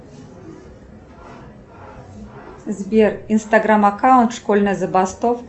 сбер инстаграмм аккаунт школьная забастовка